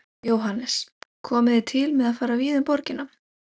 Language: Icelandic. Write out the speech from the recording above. Jóhannes: Komið þið til með að fara víða um borgina?